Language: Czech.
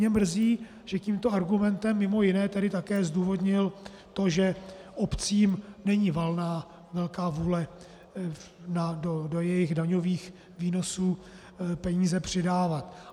Mě mrzí, že tímto argumentem mimo jiné tedy také zdůvodnil to, že obcím není valná velká vůle do jejich daňových výnosů peníze přidávat.